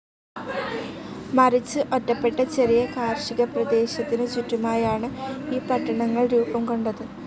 മറിച്ച് ഒറ്റപ്പെട്ട ചെറിയ കാർഷികപ്രദേശത്തിനു ചുറ്റുമായാണ്‌ ഈ പട്ടണങ്ങൾ രൂപം കൊണ്ടത്.